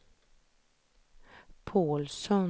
Pålsson